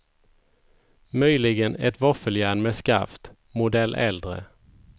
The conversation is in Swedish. Möjligen ett våffeljärn med skaft, modell äldre.